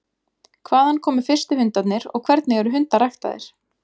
Hvaðan komu fyrstu hundarnir og hvernig eru hundar ræktaðir?